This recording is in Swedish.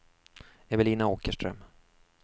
Evelina Åkerström